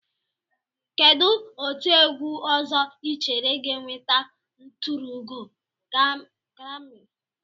Kedụ otiegwu ọzọ Ị chere ga-enweta nturuugo grami?